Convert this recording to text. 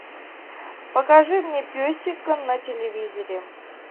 покажи мне песика на телевизоре